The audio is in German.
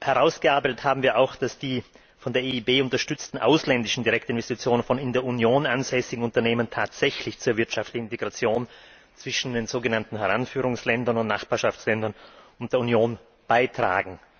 Herausgearbeitet haben wir auch, dass die von der EIB unterstützten ausländischen Direktinvestitionen von in der Union ansässigen Unternehmen tatsächlich zur wirtschaftlichen Integration zwischen den sogenannten Heranführungsländern und Nachbarschaftsländern und der Union beitragen.